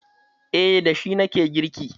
Eh, da shi na ke girki.